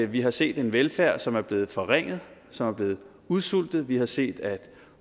vi har set en velfærd som er blevet forringet som er blevet udsultet vi har set at